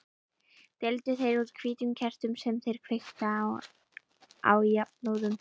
Deildu þeir út hvítum kertum sem þeir kveiktu á jafnóðum.